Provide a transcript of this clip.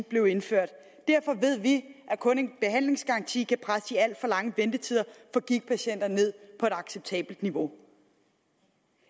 blev indført derfor ved vi at kun en behandlingsgaranti kan presse de alt for lange ventetider for gigtpatienter ned på et acceptabelt niveau